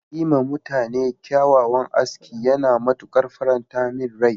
Yi ma mutane kyawawan aski yana matuƙan faranta min rai.